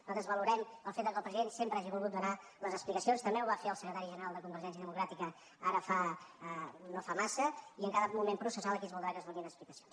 nosaltres valorem el fet que el president sempre hagi volgut donar les expli·cacions també ho va fer el secretari general de conver·gència democràtica ara no fa massa i en cada moment processal aquí es voldrà que es donin explicacions